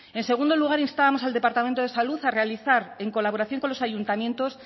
en segundo lugar instábamos al departamento de salud a realizar en colaboración con los ayuntamientos